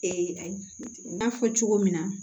Ee n y'a fɔ cogo min na